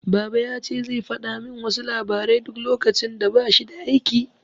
Baba yace zai fada min wasu labarai duk lokacin da bashi da aiki